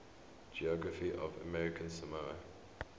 geography of american samoa